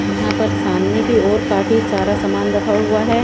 यहाँ पर सामने की ओर काफी सारा सामान रखा हुआ है।